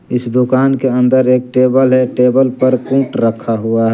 इस दुकान के अंदर एक टेबल है टेबल पर कुट रखा हुआ--